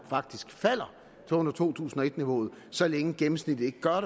faktisk falder til under to tusind og et niveauet så længe gennemsnittet ikke gør